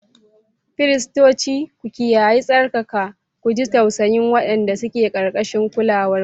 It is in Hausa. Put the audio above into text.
Firistoci, ku kiyaye tsarkaka, ku ji tausayin waɗanda suke ƙarƙashin kulawarku.